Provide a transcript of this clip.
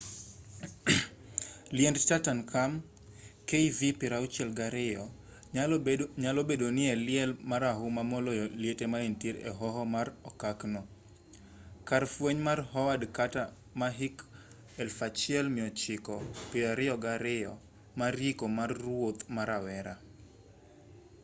liend tutankhamun kv62. kv62 nyalo bedo ni e liel marahuma moloyo liete manitiere e hoho mar okak no kar fweny mar howard carter ma hik 1922 mar yiko mar ruoth ma rawera